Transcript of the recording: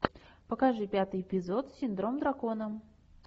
покажи пятый эпизод синдром дракона